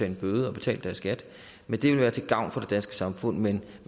en bøde og betale deres skat men det ville være til gavn for det danske samfund men